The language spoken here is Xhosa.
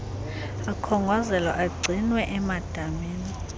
akhongozelwa agcinwe emadamini